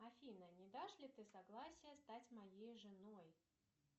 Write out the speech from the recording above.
афина не дашь ли ты согласие стать моей женой